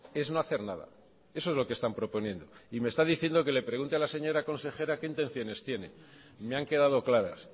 es no hacer nada eso es lo que están proponiendo y me está diciendo que le pregunte a la señora consejera qué intenciones tiene me han quedado claras